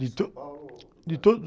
De .e São Paulo ou ?e todo...